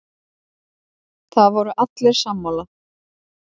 Það voru allir sammála.